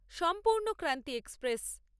Sampurnakranti express